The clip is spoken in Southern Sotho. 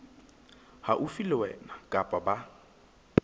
haufi le wena kapa ba